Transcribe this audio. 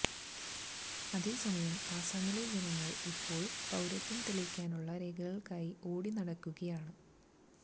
അതേസമയം അസമിലെ ജനങ്ങള് ഇപ്പോള് പൌരത്വം തെളിയിക്കാനുള്ള രേഖകള്ക്കായി ഓടി നടക്കുകയാണ്